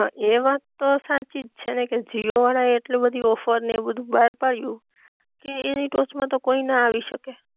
હા એ વાત તો સાચી જ છે ને કે જીઓ વાળા એ આટલી બધી ઓફર ને એ બધુ બાર પાડ્યુ કે, એની ટોચ માં તો કોઈ ના આવી શકે